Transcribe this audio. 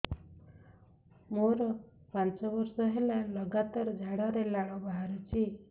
ମୋରୋ ପାଞ୍ଚ ବର୍ଷ ହେଲା ଲଗାତାର ଝାଡ଼ାରେ ଲାଳ ବାହାରୁଚି